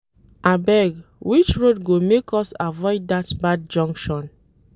Abeg, which road go make us avoid dat bad junction